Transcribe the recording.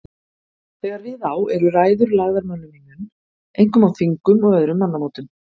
Þegar við á eru ræður lagðar mönnum í munn, einkum á þingum og öðrum mannamótum.